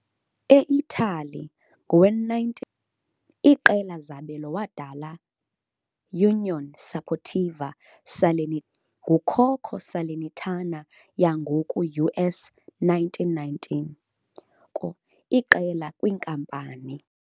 E Italy, ngowe-1919, iqela zabelo wadala Unione Sportiva Salernitana, ngukhokho Salernitana yangoku US 1919, ukususela ngoko iqela-kwinkampani.